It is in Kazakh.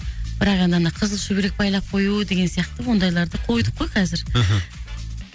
бірақ енді ана қызыл шүберек байлап кою деген сияқты ондайларды койдық қой қазір мхм